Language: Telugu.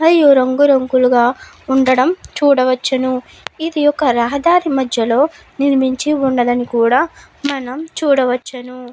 అయ్యి రంగు రంగులుగా ఉండడం చూడవచ్చును. ఇది ఒక రహదారి మద్యలో ఉండడం కూడా మనం చూడవచ్చును.